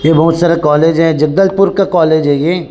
ये बहुत सारा कॉलेज है जबलपुर का कॉलेज है ये --